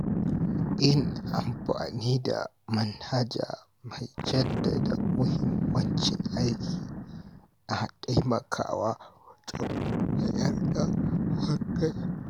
Yin amfani da manhaja mai jaddada muhimmancin aiki na taimakawa wajen mayar da hankali.